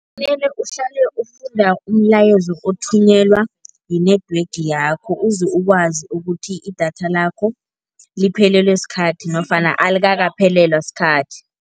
Uhlale ufunda umlayezo othunyelwa yi-network yakho ukuze ukwazi ukuthi idatha lakho liphelelwe sikhathi nofana alikakaphelelwa sikhathi.